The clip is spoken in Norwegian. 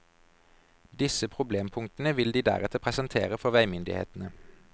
Disse problempunktene vil de deretter presentere for veimyndighetene.